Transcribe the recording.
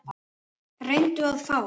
Reyndu að fá